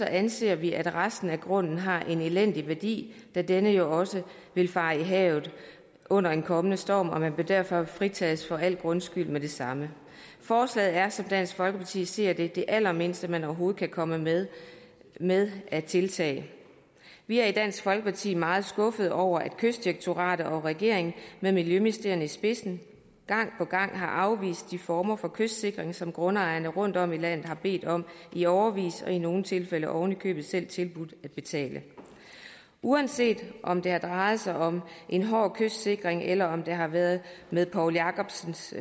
anser vi at resten af grunden har en elendig værdi da denne jo også vil fare i havet under en kommende storm og man bør derfor fritages for al grundskyld med det samme forslaget er som dansk folkeparti ser det det allermindste man overhovedet kan komme med med af tiltag vi er i dansk folkeparti meget skuffede over at kystdirektoratet og regeringen med miljøministeren i spidsen gang på gang har afvist de former for kystsikring som grundejerne rundtom i landet har bedt om i årevis og i nogle tilfælde oven i købet selv tilbudt at betale uanset om det har drejet sig om en hård kystsikring eller om det har været med poul jakobsens